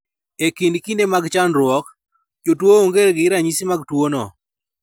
E kind kinde mag chandruok, jotuo onge gi ranyisi mag tuwono.